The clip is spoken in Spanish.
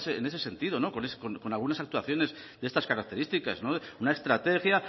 en ese sentido con algunas actuaciones de estas características una estrategia